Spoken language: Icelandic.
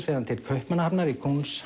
fer hann til Kaupmannahafnar í